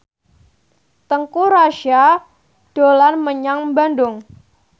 Teuku Rassya dolan menyang Bandung